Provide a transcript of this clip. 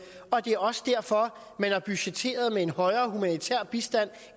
og det er også derfor man har budgetteret med en højere humanitær bistand